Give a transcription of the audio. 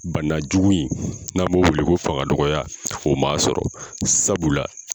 Bana jugu in n'an b'o weele ko fanga dɔgɔya, o ma sɔrɔ sabu la